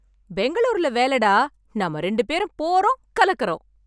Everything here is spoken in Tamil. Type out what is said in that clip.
பெங்களூர்ல வேலைடா, நம்ம ரெண்டு பேரும் போறோம் கலக்குறோம்.